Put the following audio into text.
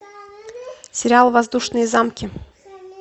сериал воздушные замки